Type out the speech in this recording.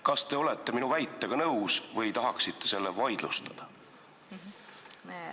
Kas te olete minu väitega nõus või tahate selle vaidlustada?